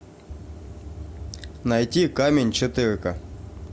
найти камень четыре ка